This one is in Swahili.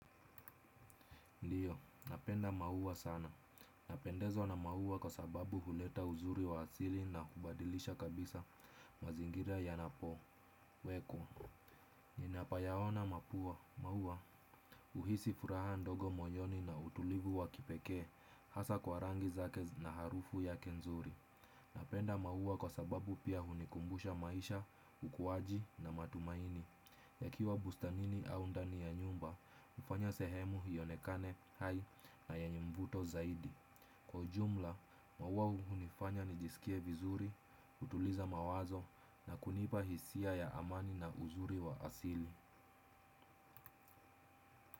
Ndiyo, napenda maua sana. Napendezwa na maua kwa sababu huleta uzuri wa asili na hubadilisha kabisa mazingira yanapo. Weko, ninapayaona mapua, maua, uhisi furaha ndogo moyoni na utulivu wa kipekee, hasa kwa rangi zake na harufu yake nzuri. Napenda maua kwa sababu pia hunikumbusha maisha, ukuwaji na matumaini. Yakiwa bustanini au ndani ya nyumba, hufanya sehemu ionekane hai na yenye mvuto zaidi. Kwa ujumla, maua hunifanya nijisikie vizuri, hutuliza mawazo na kunipa hisia ya amani na uzuri wa asili.